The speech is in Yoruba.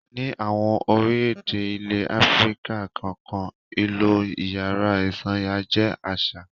Ní àwọn orílẹ̀-èdè ilẹ̀ Áfíríkà kọ̀ọ̀kan, ìlò ìyàrá ìsanra jẹ́ àṣà.